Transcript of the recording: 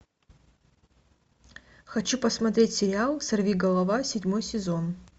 хочу посмотреть сериал сорвиголова седьмой сезон